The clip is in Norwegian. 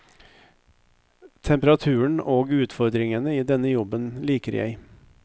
Temperaturen og utfordringene i denne jobben liker jeg.